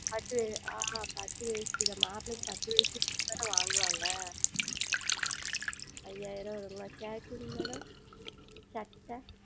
பட்டுஆஹ் பட்டு வேட்டி மாப்பிளைக்கு பட்டு வேட்டி கொடுத்தால் தானே வாங்குவார்கள் ஐயாயிரம் வருமா ShirtMadam சட்டை